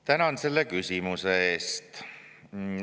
Tänan selle küsimuse eest.